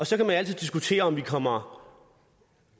så kan man altid diskutere om vi kommer